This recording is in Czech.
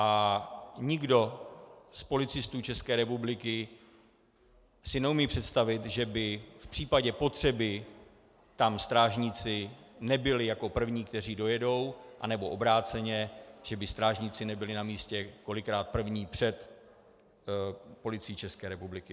A nikdo z policistů České republiky si neumí představit, že by v případě potřeby tam strážníci nebyli jako první, kteří dojedou, anebo obráceně, že by strážníci nebyli na místě kolikrát první před Policií České republiky.